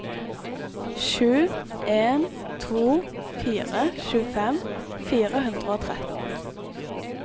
sju en to fire tjuefem fire hundre og tretten